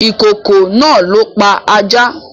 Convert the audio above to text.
Ìkokò náà ló pa ajá